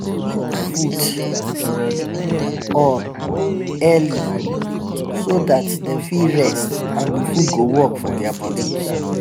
food on early so that them fit rest and the food go work for their body